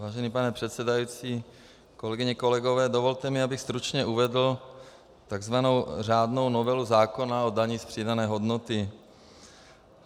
Vážený pane předsedající, kolegyně, kolegové, dovolte mi, abych stručně uvedl takzvanou řádnou novelu zákona o dani z přidané hodnoty.